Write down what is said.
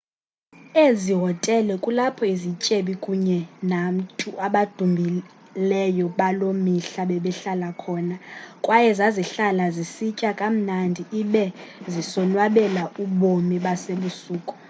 ezi hotele kulapho izityebi kunye nantu abadumileyo baloo mihla bebehlala khona kwaye zazihlala zisitya kamnandi ibe zisonwabela ubomi basebusuku